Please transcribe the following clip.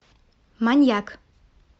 маньяк